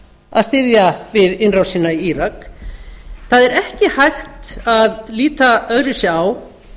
að styðja við innrásina í írak það er ekki hægt að líta öðruvísi á